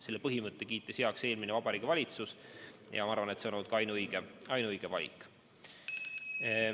Selle põhimõtte kiitis heaks eelmine Vabariigi Valitsus ja ma arvan, et see on olnud ka ainuõige valik.